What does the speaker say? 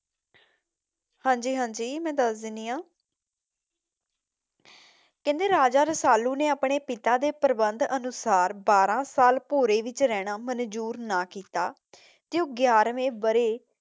ਹਾਂਜੀ ਹਾਂਜੀ ਮੈਂ ਦੱਸ ਦਿੰਦੀ ਹਾਂ, ਕਹਿੰਦੇ ਕੀ ਰਾਜਾ ਰਸਾਲੁ ਨੇ ਆਪਣੇ ਪਿਤਾ ਦੇ ਪ੍ਰਬੰਧਨ ਅਨੁਸਾਰ ਬਾਰਾਂ ਸਾਲ ਭੋਰੇ ਵਿੱਚ ਰਹਨਾ ਮੰਜ਼ੂਰ ਨਾ ਕੀਤਾ ਤੇ ਗਿਆਰ੍ਹਵੇਂ ਬਰੇ